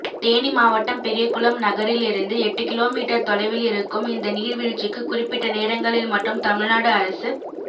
தேனி மாவட்டம் பெரியகுளம் நகரிலிருந்து எட்டு கிலோமீட்டர் தொலைவிலிருக்கும் இந்த நீர்வீழ்ச்சிக்கு குறிப்பிட்ட நேரங்களில் மட்டும் தமிழ்நாடு அரசுப்